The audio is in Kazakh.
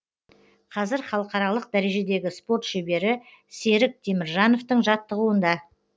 қазір халықаралық дәрежедегі спорт шебері серік теміржановтың жаттығуында